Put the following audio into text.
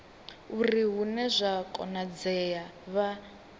uri hune zwa konadzea vha